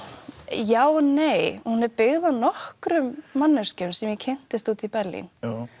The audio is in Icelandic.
já og nei hún er byggð á nokkrum manneskjum sem ég kynntist úti í Berlín